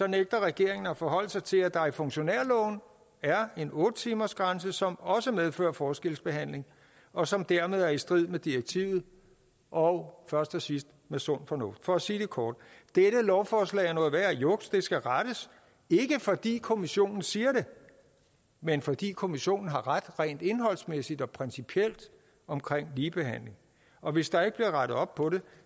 nægter regeringen at forholde sig til at der i funktionærloven er en otte timersgrænse som også medfører forskelsbehandling og som dermed er i strid med direktivet og først og sidst med sund fornuft for at sige det kort dette lovforslag er noget værre juks det skal rettes ikke fordi kommissionen siger det men fordi kommissionen har ret rent indholdsmæssigt og principielt omkring ligebehandling og hvis der ikke bliver rettet op på det